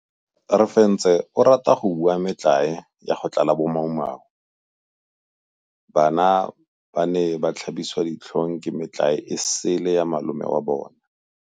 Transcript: Refentse o rata go bua metlae ya go tlala bomaumau. Bana ba ne ba tlhabiswa ditlhong ke metlae e sele ya malome wa bona.